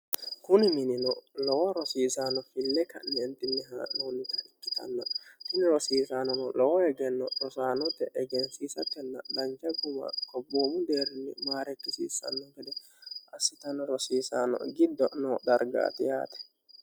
kuni minino lowo rosiisanno fille ka'ni entinnihaa'noonnita ikkitannann tini rosiisaanono lowo egenno rosaanote egensiisatenna danja guma kobboomu deerni maarekkisiissanno gede assitano rosiisano giddo no dargaati yaate